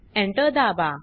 Enter दाबा